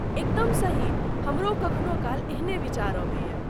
एकदम सही, हमरो कखनो काल एहने विचार अबैए।